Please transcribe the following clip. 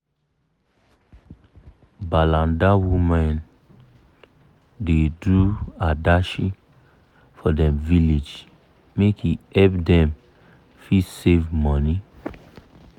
balanda women da do adashi for dem village make e help them fit save money